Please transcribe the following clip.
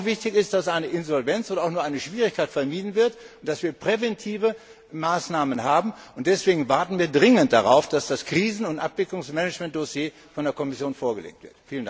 Noch wichtiger ist, dass eine Insolvenz oder auch nur eine Schwierigkeit vermieden wird und dass wir präventive Maßnahmen haben. Deswegen warten wir dringend darauf, dass das Krisen und Abwicklungsmanagementdossier von der Kommission vorgelegt wird.